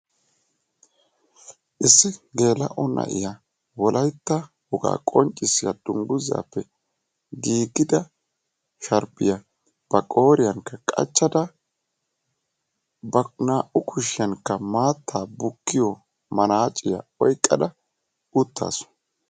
Issi geella"o na'iya wolaytta woga qonccissiyaa dungguzappe giigida sharbbiya ba qooriyanka qachchada ba naa"u kushiyankka maattaa bukkiyo manacciya oyqqada uttaasu.